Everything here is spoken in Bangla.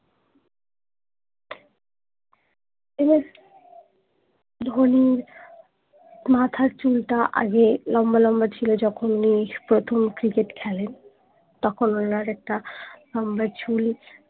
এম এস ধোনির মাথার চুলটা আগেই লম্বা লম্বা ছিল যখুন উনি প্রথম ক্রিকেট খেলেন তখন ওনার একটা লম্বা চুল